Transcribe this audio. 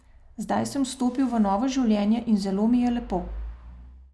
Zdaj sem vstopil v novo življenje in zelo mi je lepo.